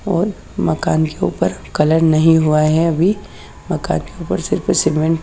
और मकान के ऊपर कलर नहीं हुआ है अभी मकान के ऊपर सिर्फ सीमेंट --